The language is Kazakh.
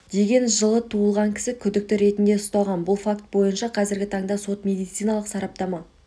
деген жылы туылған кісі күдікті ретінде ұсталған бұл факт бойынша қазіргі таңда сот медициналық сараптама